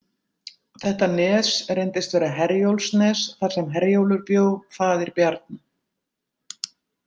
Þetta nes reyndist vera Herjólfsnes þar sem Herjólfur bjó, faðir Bjarna.